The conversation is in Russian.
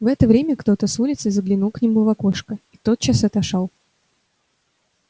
в это время кто-то с улицы заглянул к нему в окошко и тотчас отошёл